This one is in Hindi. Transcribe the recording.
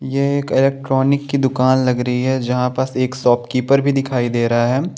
यह एक इलेक्ट्रॉनिक की दूकान लग रही है जहाँ पर एक शॉप कीपर भी दिखाई दे रहा है।